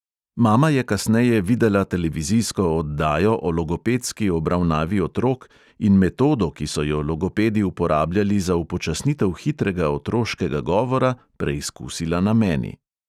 Mama je kasneje videla televizijsko oddajo o logopedski obravnavi otrok in metodo, ki so jo logopedi uporabljali za upočasnitev hitrega otroškega govora, preizkusila na meni.